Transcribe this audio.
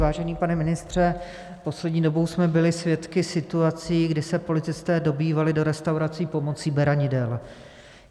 Vážený pane ministře, poslední dobou jsme byli svědky situací, kdy se policisté dobývali do restaurací pomocí beranidel.